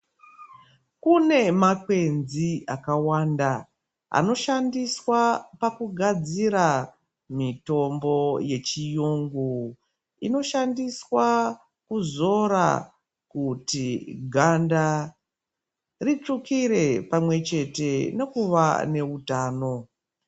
Kune makwenzi akawanda anoshandiswa pakugadzira mitombo yechiyungu, inoshandiswa kuzora kuti ganda ritsvukire pamwe chete nekuva newutano.